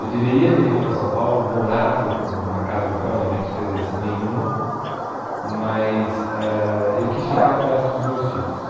Eu deveria ter vindo para São Paulo, morado com na casa do meu pai, onde a minha despesa ia ser nenhuma, mas ãh eu quis ficar perto dos meus filhos.